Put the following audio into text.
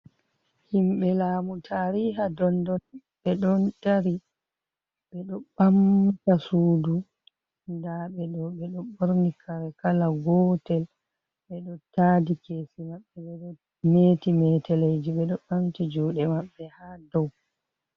Himɓe lamu tariha dondon ɓe ɗon dari ɓeɗo ɓamta sudu da be do ɓedo ɓorni kare kala gotel beɗo taadi kesi maɓɓe ɓedo meti meteleji, ɓedo ɓamti juɗe maɓɓe ha dow.